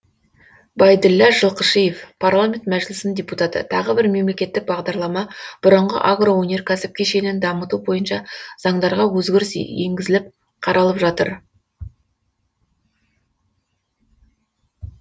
байділлә жылқышиев парламент мәжілісінің депутаты тағы бір мемлекеттік бағдарлама бұрынғы агроөнеркәсіп кешенін дамыту бойынша заңдарға өзгеріс енгізіліп қаралып жатыр